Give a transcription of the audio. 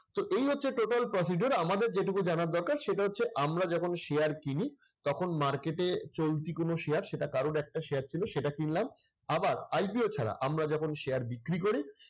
তো এই হচ্ছে total procedure আমাদের যেটুকু জানার দরকার সেটা হচ্ছে আমরা যখন share কিনি, তখন market এ চলতি কোন share সেটা কারোর একটা share ছিল সেটা কিনলাম। আবার IPO ছাড়া আমরা যখন share বিক্রি করি